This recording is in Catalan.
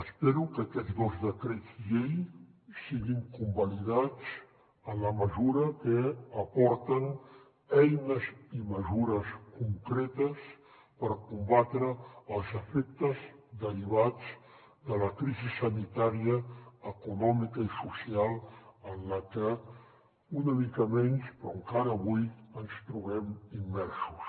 espero que aquests dos decrets llei siguin convalidats en la mesura que aporten eines i mesures concretes per combatre els efectes derivats de la crisi sanitària econòmica i social en la que una mica menys però encara avui ens trobem immersos